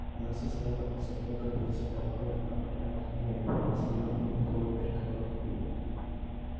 она состояла из одной горницы довольно опрятной разделённой надвое перегородкой